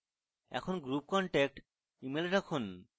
এখন group contact email রাখুন